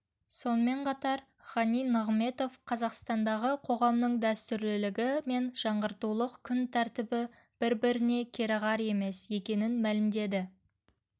сонымен қатар ғани нығыметов қазақстандағы қоғамның дәстүрлілігі мен жаңғыртулық күн тәртібі бір-біріне кереғар емес екенін мәлімдеді